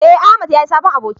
eh Ahmad ya yi sabon aboki